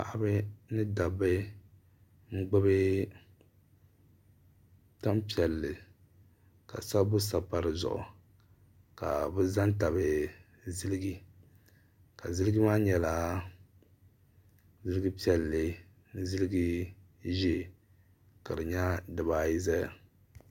Paɣaba ni dabba n gbubi tanpiɛlli ka sabbu sabi pa di zuɣu ka bi za n tabi ziliji ka ziliji maa nyɛla ziliji piɛlli ni ziliji ʒee ka di nyɛ di baa ayi zaya.